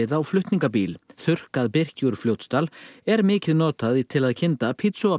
á flutningabíl þurrkað birki úr Fljótsdal er mikið notað til að kynda